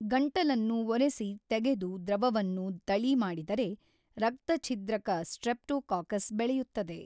ಗಂಟಲನ್ನು ಒರೆಸಿ ತೆಗೆದು ದ್ರವವನ್ನು ತಳಿ ಮಾಡಿದರೆ ರಕ್ತಛಿದ್ರಕ ಸ್ಟ್ರೆಪ್ಟೋಕಾಕಸ್ ಬೆಳೆಯುತ್ತದೆ.